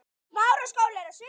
Það heyrist skellur úti.